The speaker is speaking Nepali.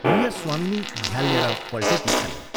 गृहस्वामिनी झ्यालनेर पल्टेकी छन्।